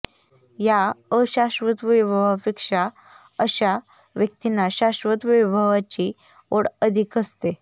या अशाश्वत वैभवापेक्षा अशा व्यक्तींना शाश्वत वैभवाची ओढ अधिक असते